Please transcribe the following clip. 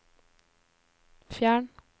fjern